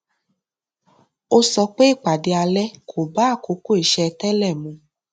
ó sọ pé ìpàdé alẹ kọ bá àkókò iṣé télè mu